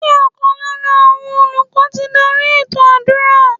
Ṣé ọ̀kan lára àwọn olùkọ́ ti dárí ètò àdúrà?